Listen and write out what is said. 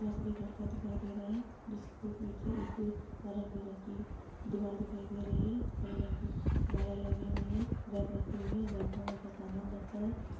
यहाँ पर एक लड़का दिखाई दे रहा है जिसके पीछे एक नारंगी रंग की दीवार दिखाई दे रही है हरे रंग की मालाएं लगी हुई है रैक रखी हुई है रैक में बहुत सा सामान रखा हैं।